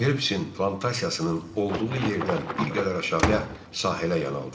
Felpsin plantasiyasının olduğu yerdən bir qədər aşağıya sahələ yanaltdım.